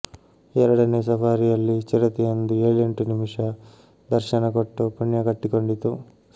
ಎರಡನೇ ಸಫಾರಿಯಲ್ಲಿ ಚಿರತೆಯೊಂದು ಏಳೆಂಟು ನಿಮಿಷ ದರ್ಶನ ಕೊಟ್ಟು ಪುಣ್ಯ ಕಟ್ಟಿಕೊಂಡಿತು